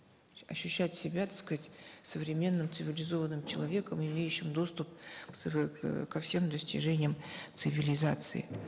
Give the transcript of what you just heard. ощущать себя так сказать современным цивилизованным человеком имеющим доступ ко всем достижениям цивилизации